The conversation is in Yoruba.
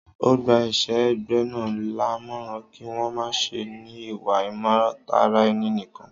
Ọ gbà èṣè égbé náà lámọ́ràn kí wọ́n má ṣè ní ìwà imọ̀tara ènì nìkan